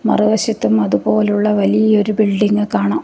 മറുവശത്തും അതുപോലുള്ള വലിയൊരു ബിൽഡിങ്ങ് കാണാം.